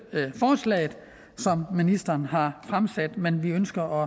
forslaget som ministeren har fremsat men vi ønsker